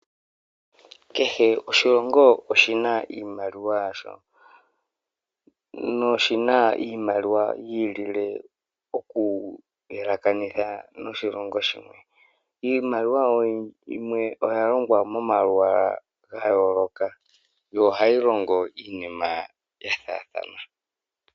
Kehe oshilongo oshina iimaliwa yasho noshina iimaliwa yiilile okuyelekanitha noshilongo shimwe . Iimaliwa yimwe oyalongwa momalwaala gayooloka, yo ohayi longo iinimaa yafaathana.